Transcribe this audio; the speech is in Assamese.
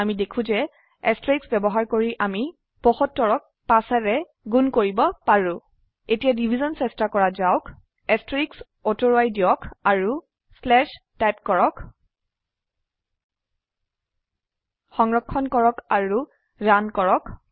আমি দেখো যে এষ্টাৰিস্ক বয়ৱহাৰ কৰি আমি ৭৫ক ৫ ৰে গুন কৰিব পাৰো এতিয়া ডিভিশ্যন চেস্তা কৰা যাওক এষ্টাৰিস্ক অতুৰুৱাই দিয়ক আৰু শ্লেচ টাইপ কৰক সংৰক্ষণ কৰক আৰু ৰান কৰক